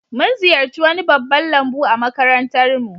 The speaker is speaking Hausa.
Mun ziyarci wani babban lambu a makarantar mu